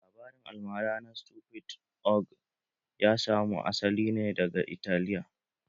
Labarin almara na stupid ogre ya samu asali ne daga Italiya